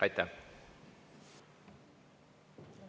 Aitäh!